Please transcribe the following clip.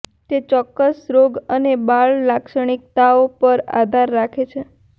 તે ચોક્કસ રોગ અને બાળ લાક્ષણિકતાઓ પર આધાર રાખે છે